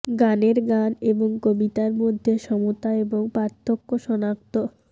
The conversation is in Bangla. গানের গান এবং কবিতা মধ্যে সমতা এবং পার্থক্য সনাক্ত